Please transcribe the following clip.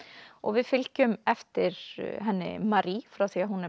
við fylgjum eftir henni Marie frá því hún er